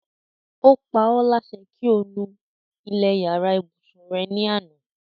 Ó paólásẹ kí o nu ilẹ̀ yàrá ìbùsùn re ní àná.